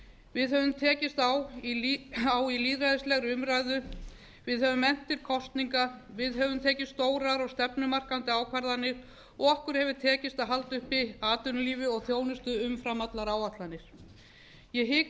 við höfum tekist á í lýðræðislegri umræðu höfum efnt til kosninga höfum tekið stórar og stefnumarkandi ákvarðanir og okkur hefur tekist að halda uppi atvinnulífi og þjónustu umfram allar áætlanir ég hika